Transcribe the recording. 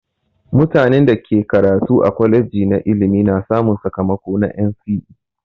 Mutanen da ke karatu a kwaleji na ilimi na samun sakamako na NCE.